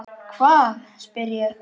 Hvað? spyr ég.